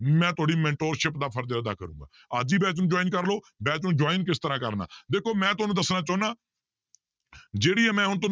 ਮੈਂ ਤੁਹਾਡੀ mentorship ਦਾ ਫ਼ਰਜ਼ ਅਦਾ ਕਰਾਂਗਾ, ਅੱਜ ਹੀ batch ਨੂੰ join ਕਰ ਲਓ batch ਨੂੰ join ਕਿਸ ਤਰ੍ਹਾਂ ਕਰਨਾ ਦੇਖੋ ਮੈਂ ਤੁਹਾਨੂੰ ਦੱਸਣਾ ਚਾਹੁਨਾ ਜਿਹੜੀ ਇਹ ਮੈਂ ਹੁਣ ਤੁ~